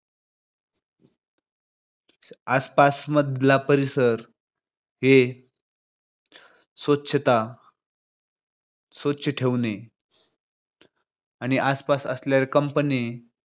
आसपास मधला परिसर हे स्वच्छता स्वच्छ ठेवणे आणि आसपास असलेल्या companies